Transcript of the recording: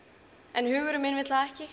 en hugurinn minn vill það ekki